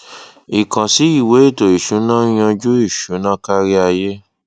ìkànsí ìwé ètò ìsúná ń yanjú ìṣúná kárí ayé